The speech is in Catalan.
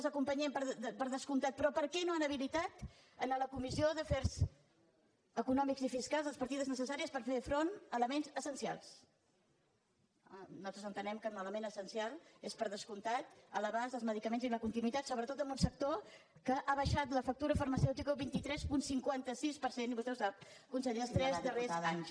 els acompanyem per descomptat però per què no han habilitat a la comissió d’afers econòmics i fiscals les partides necessàries per fer front a elements essencials nosaltres entenem que un element essencial és per descomptat l’abast als medicaments i la continuïtat sobretot en un sector que ha baixat la factura farmacèutica un vint tres coma cinquanta sis per cent i vostè ho sap conseller els tres darrers anys